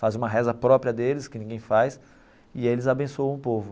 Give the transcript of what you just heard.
Faz uma reza própria deles, que ninguém faz, e eles abençoam o povo.